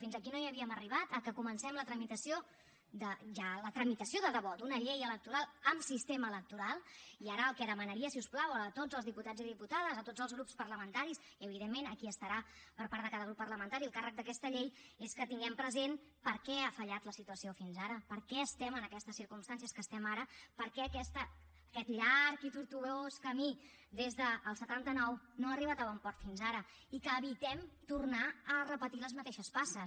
fins aquí no hi havíem arribat que comencem la tramitació la tramitació de debò d’una llei electoral amb sistema electoral i ara el que demanaria si us plau a tots els diputats i diputades a tots els grups parlamentaris i evidentment a qui estarà per part de cada grup parlamentari al càrrec d’aquesta llei és que tinguem present per què ha fallat la situació fins ara per què estem en aquestes circumstàncies que estem ara per què aquest llarg i tortuós camí des del setanta nou no ha arribat a bon port fins ara i que evitem tornar a repetir les mateixes passes